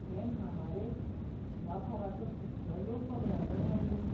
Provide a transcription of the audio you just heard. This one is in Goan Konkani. हे म्हामारेंत जिवाभावाचो कितलो लोक वगडायलो रे आमी!